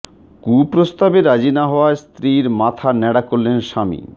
কুপ্রস্তাবে রাজি না হওয়ায় স্ত্রীর মাথা ন্যাড়া করলেন স্বামী